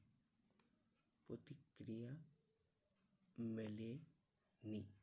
প্রতিক্রিয়া মেলে নি।